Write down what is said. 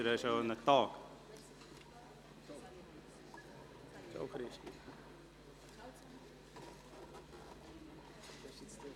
Sie haben die Anträge angenommen, mit 76 Ja- zu 74 Nein-Stimmen ohne Enthaltungen.